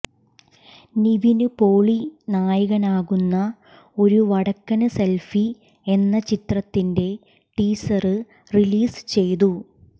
നിവിന് പോളി നായകനാകുന്ന ഒരു വടക്കന് സെല്ഫി എന്ന ചിത്രത്തിന്റെ ടീസര് റിലീസ് ചെയ്തു